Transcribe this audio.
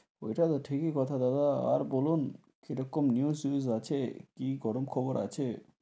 ঐটা তো ঠিকি কথা দাদা, আর বলুন কি রকম news ফেউজ আছে, কি গরম খবর আছে?